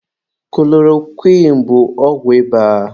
Kulorokwịn bụ ọgwụ ịba.